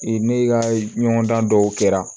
ne ka ɲɔgɔndan dɔw kɛra